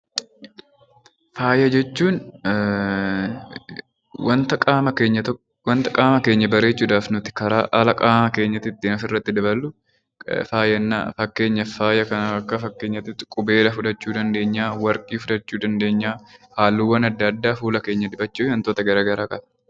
Faaya jechuun wanta qaama keenya bareechuuf karaa alaatiin ofitti daballu faaya jennaan. Akka fakkeenyaatti qubeelaa, warqee, halluuwwan adda addaa fuula keenya dibachuu fi wantoota garaagaraa qaba.